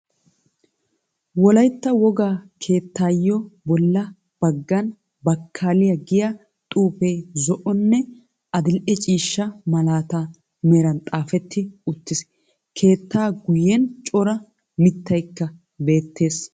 Wolaytta wogaa keettaayo bolla baggan bakkaaaliya giya xuufee zo"onne adil"e ciishshaa malatiya meran taafeti uttiis. Keettaa guyen cora mittaykka beettees.